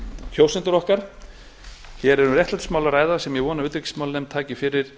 kjósendur okkar hér er um réttlætismál að ræða sem ég vona að utanríkismálanefnd taki fyrir